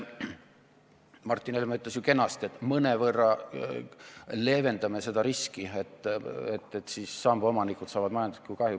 Martin Helme ütles ju kenasti, et me mõnevõrra leevendame seda riski, et samba omanikud saavad majanduslikku kahju.